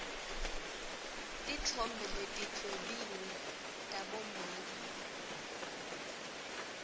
titfombe letidwebiwe tabomake